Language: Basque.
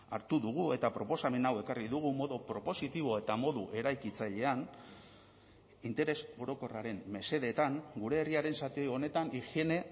hartu dugu eta proposamen hau ekarri dugu modu propositibo eta modu eraikitzailean interes orokorraren mesedetan gure herriaren zati honetan higiene